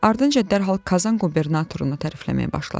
Ardınca dərhal Kazan qubernatorunu tərifləməyə başladı.